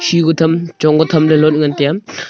heku tham chong ka tham ley lot ngan tiya.